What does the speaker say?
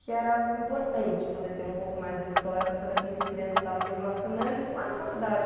que era importante poder ter um pouco mais da história para saber com que criança eu estava me relacionando, isso lá na faculdade.